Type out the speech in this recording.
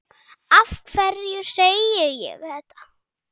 Af hverju segi ég þetta?